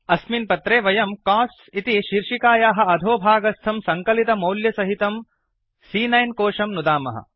अस्मिन् पत्रे वयम् कोस्ट्स् इति शीर्षिकायाः अधो भागस्थं सङ्कलितमौल्यसहितं सी॰॰9 कोशं नुदामः